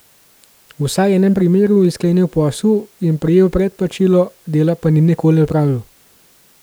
V vsaj enem primeru je sklenil posel in prejel predplačilo, dela pa ni nikoli opravil.